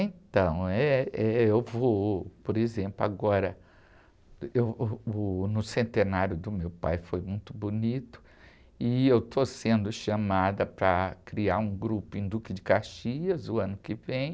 Então, eh, eu vou, por exemplo, agora, no centenário do meu pai foi muito bonito e eu estou sendo chamada para criar um grupo em Duque de Caxias o ano que vem.